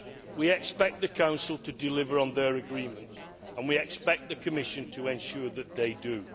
We expect the Council to deliver on their agreements, and we expect the Commission to ensure that they do.